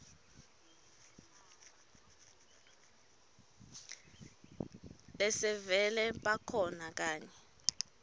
lesevele bakhona kanye